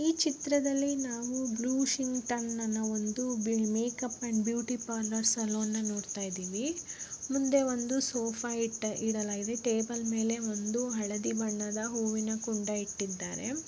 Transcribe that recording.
ಈ ಚಿತ್ರದಲ್ಲಿ ನಾವು ಬ್ಲೂ ಸಿಂಕ್ಟನ್ನ makeup and beauty parlour salon ಅನ್ನ ನಾವು ನೋಡ್ತಾ ಇದ್ದೀವಿ ಮುಂದೆ ಒಂದು ಸೋಫಾ ಇಟ್ಟ ಇಡಲಾಗಿದೆ ಟೇಬಲ್ ಮೇಲೆ ಒಂದು ಹಳದಿ ಬಣ್ಣದ ಹೂವೀನ ಕುಂಡ ಇಟ್ಟಿದ್ದಾರೆ.